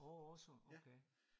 Åh awesome okay